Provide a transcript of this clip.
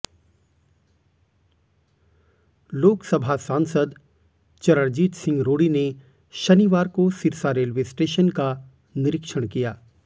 लोकसभा सांसद चरणजीत सिंह रोड़ी ने शनिवार को सिरसा रेलवे स्टेशन का निरिक्षण किया